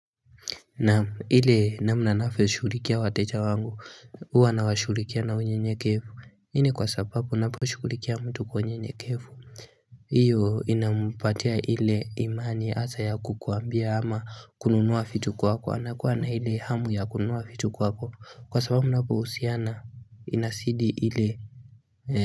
Na ile namna navyo shughulikia wateja wangu huwa na washughulikia na unye nyekevu hii ni kwa sababu napo shughulikia mtu kwenye nyekevu Iyo inampatia ile imani hasa ya kukuambia ama kununua vitu kwako anakuwa na ile hamu ya kununua vitu kwako kwa sababu inapohusiana inasidi ile.